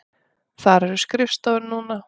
Þar eru skrifstofur núna.